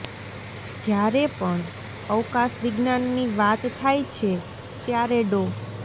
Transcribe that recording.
જ્યારે પણ અવકાશ વિજ્ઞાનની વાત થાય છે ત્યારે ડો